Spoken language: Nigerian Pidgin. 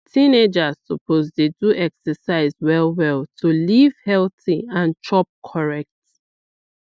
teenagers suppose dey do exercise well well to live healthy and chop correct